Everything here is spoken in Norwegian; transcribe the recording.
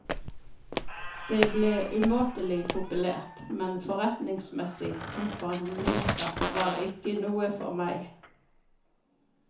Det ble umåtelig populært, men forretningsmessig kompaniskap var ikke noe for meg.